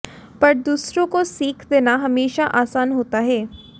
पर दूसरों को सीख देना हमेशा आसान होता है